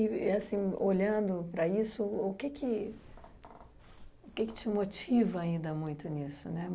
E, assim olhando para isso, o que te motiva ainda muito nisso?